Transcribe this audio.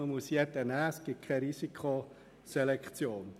Jeder muss aufgenommen werden, und es gibt keine Risikoselektion.